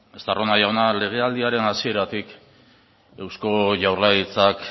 estarrona jauna legealdiaren hasieratik eusko jaurlaritzak